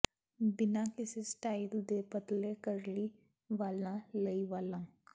ਬਿਨਾਂ ਕਿਸੇ ਸਟਾਈਲ ਦੇ ਪਤਲੇ ਕਰਲੀ ਵਾਲਾਂ ਲਈ ਵਾਲਾਂ